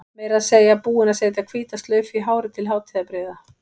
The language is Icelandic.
Meira að segja búin að setja hvíta slaufu í hárið til hátíðarbrigða.